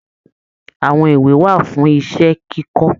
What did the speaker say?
Àwọn ìwé wà fún iṣẹ kikọ.